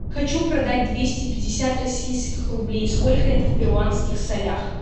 хочу продать двести пятьдесят российских рублей сколько это в перуанских солях